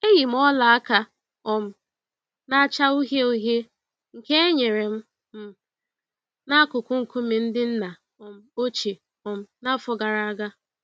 Eyi m ọla aka um na-acha uhie uhie nke e nyere m m n'akụkụ nkume ndị nna um ochie um n'afọ gara aga.